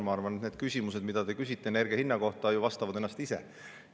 Ma arvan, et need küsimused, mida te küsite energia hinna kohta, vastavad endale ise.